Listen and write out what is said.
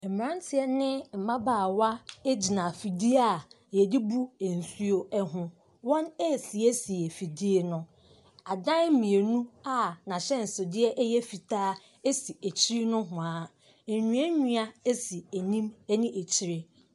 Mmranteɛ ne mmabaawa egyina fidie a yɛde bu nsuo ho wɔn esiesie fidie no adan mienu a nahyɛnsodeɛ ɛyɛ fitaa esi akyiri nohwaa enua nua esi anim ɛne akyire.